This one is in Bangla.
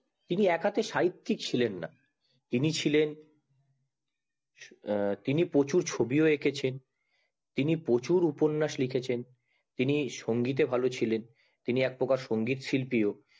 তিনি একান্তে সাহিত্যিক ছিলেন না তিনি ছিলেন তিনি প্রচুর ছবি ও এঁকেছেন তিনি প্রচুর উপন্যাস ও লিখেছেন তিনি সংগীতে ভালো ছিলেন তিনি একপ্রকার সংগীত শিল্পীও